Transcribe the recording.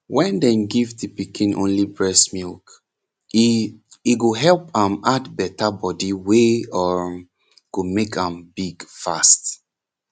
wen dem give de pikin only breast milk e e go help am add beta body wey um go make am big fast